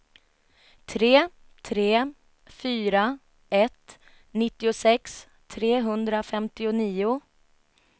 tre tre fyra ett nittiosex trehundrafemtionio